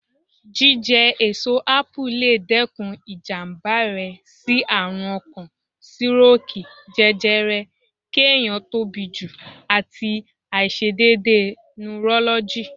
Jíjẹ èso Ápù lè dẹ́kun ìjàmbá rẹ sí àrùn ọkàn, sírókìì, jẹjẹrẹ, kí ẹ̀yàn tóbi jù, àti àìse dédé nurọ́lọ́gì.